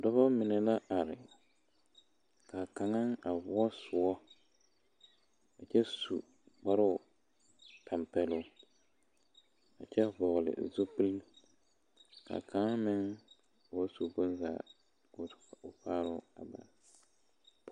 Dɔbɔ mine la are ka kaŋa voɔ soɔ a kyɛ su kparoo tampeloŋ a kyɛ vɔgle zupili ka kaŋa meŋ ba su bonzaa ka o faaroo bare.